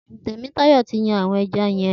Temitayo ti yàn awọn ẹ̀já yèn